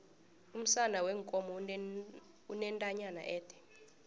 umsana weenkomo unentanyana ede